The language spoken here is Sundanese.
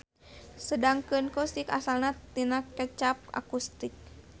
Sedengkeun Coustic asalna tina kecap acoustic.